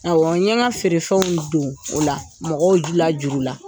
Awɔ n ye n ka feerefɛnw don o la mɔgɔw